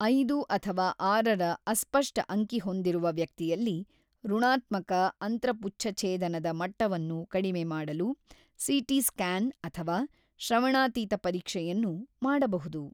ಐದು ಅಥವಾ ಆರರ ಅಸ್ಪಷ್ಟ ಅಂಕಿ ಹೊಂದಿರುವ ವ್ಯಕ್ತಿಯಲ್ಲಿ, ಋಣಾತ್ಮಕ ಅಂತ್ರಪುಚ್ಛಛೇದನದ ಮಟ್ಟವನ್ನು ಕಡಿಮೆ ಮಾಡಲು ಸಿ.ಟಿ ಸ್ಕ್ಯಾನ್ ಅಥವಾ ಶ್ರವಣಾತೀತ ಪರೀಕ್ಷೆಯನ್ನು ಮಾಡಬಹುದು.